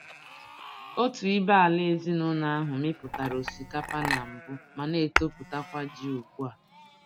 Otu ibé-ala ezinụlọ ahụ mipụtara osikapa na mbụ ma na-etoputakwa ji ugbu a.